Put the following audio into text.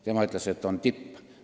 Tema ütles, et oleme tipus.